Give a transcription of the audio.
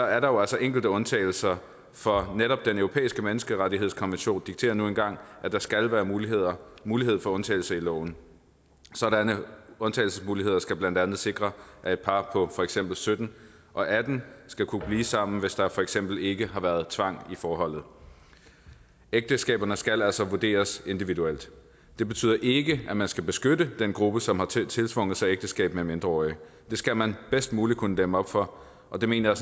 er der jo altså enkelte undtagelser for netop den europæiske menneskerettighedskonvention dikterer nu engang at der skal være mulighed være mulighed for undtagelser i loven sådanne undtagelsesmuligheder skal blandt andet sikre at et par på for eksempel sytten og atten år skal kunne blive sammen hvis der for eksempel ikke har været tvang i forholdet ægteskaberne skal altså vurderes individuelt det betyder ikke at man skal beskytte den gruppe som har tiltvunget sig ægteskab med mindreårige det skal man bedst muligt kunne dæmme op for og det mener